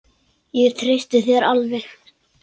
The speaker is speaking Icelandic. Ég treysti þér alveg.